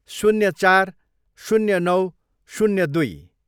शून्य चार, शून्य नौ, शून्य दुई